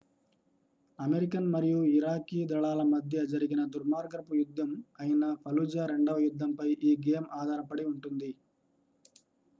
American మరియు Iraqi దళాల మధ్య జరిగిన దుర్మార్గపు యుద్ధం అయిన ఫలుజా రెండవ యుద్ధంపై ఈ గేమ్ ఆధారపడి ఉంటుంది